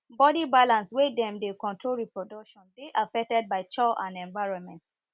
body balance wey dem dey control reproduction dey affected by chow and environment